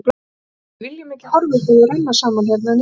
Við viljum ekki horfa upp á þau renna saman hérna niðri.